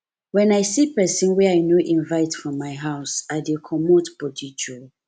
wen i see pesin wey i no invite for my for my house i dey comot body joor